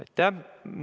Aitäh!